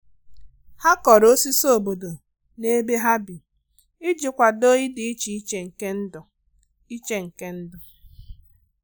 Ha kọrọ osisi obodo n'ebe ha bi iji kwado idi iche iche nke ndụ iche nke ndụ